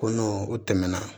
Ko n'o o tɛmɛna